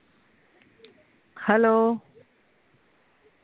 hello